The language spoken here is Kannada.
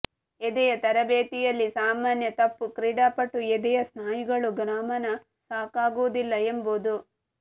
ಎದೆಯ ತರಬೇತಿಯಲ್ಲಿ ಸಾಮಾನ್ಯ ತಪ್ಪು ಕ್ರೀಡಾಪಟು ಎದೆಯ ಸ್ನಾಯುಗಳು ಗಮನ ಸಾಕಾಗುವುದಿಲ್ಲ ಎಂಬುದು